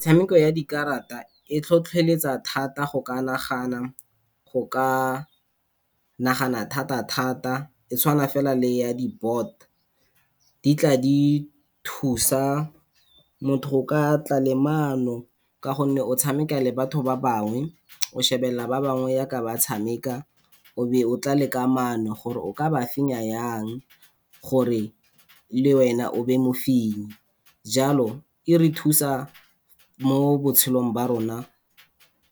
Metshameko ya dikarata e tlhotlholetsa thata go ka nagana thata-thata e tshawana fela le ya di-board. Di tla di thusa motho go ka tla le maano ka gonne o tshameka le batho ba bangwe o shebelelela ba bangwe jaaka ba tshameka, o be o tla le ka maano gore o ka ba fenya jang gore le wena o nne mofenyi. Jalo e re thusa mo botshelong jwa rona